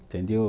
Entendeu?